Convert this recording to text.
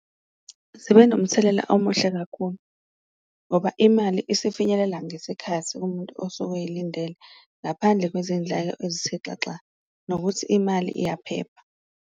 Zibe nomthelela omuhle kakhulu ngoba imali isifinyelela ngesikhathi kumuntu osuke eyilindele, ngaphandle kwezindleko ezithexaxa nokuthi imali iyaphepha.